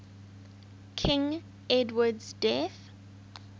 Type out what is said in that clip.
king edward's death